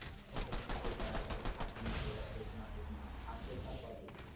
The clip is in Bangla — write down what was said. হয়তোও তারা সেটা থাকে না বা সইতে না পেরে অত্মহত্যার পথ বেচে নেয়।